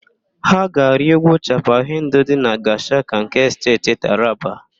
Ha ga-arị úgwú Chapal Hendu dị na Gashaka nke Steeti Taraba.